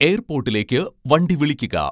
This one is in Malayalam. എയർപോട്ടിലേക്ക് വണ്ടി വിളിക്കുക